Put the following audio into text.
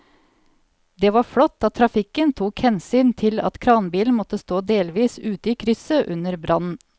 Det var flott at trafikken tok hensyn til at kranbilen måtte stå delvis ute i krysset under brannen.